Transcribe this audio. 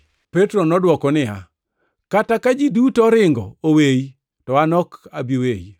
Petro nodwoko niya, “Kata ka ji duto oringo oweyi to an ok abi weyi.”